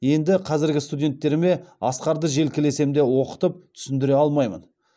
енді қазіргі студенттеріме асқарды желкелесем де оқытып түсіндіре алмаймын